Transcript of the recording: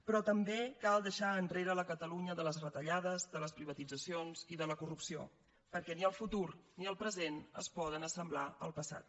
però també cal deixar enrere la catalunya de les retallades de les privatitzacions i de la corrupció perquè ni el futur ni el present es poden assemblar al passat